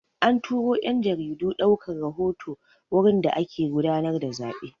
An turo 'yan jaridu ɗaukar rahoto wurin da ake gudanar da zaɓe.